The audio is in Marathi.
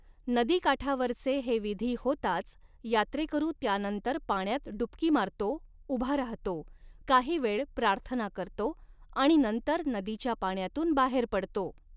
नदीकाठावरचे हे विधी होताच यात्रेकरू त्यानंतर पाण्यात डुबकी मारतो, उभा राहतो, काही वेळ प्रार्थना करतो आणि नंतर नदीच्या पाण्यातून बाहेर पडतो.